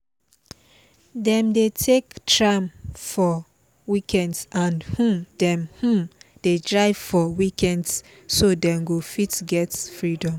dem dey take tram for weekdays and um them um dey drive for weekends so them go fit get freedom